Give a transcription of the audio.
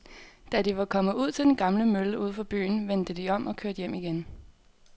Da de var kommet ud til den gamle mølle uden for byen, vendte de om og kørte hjem igen.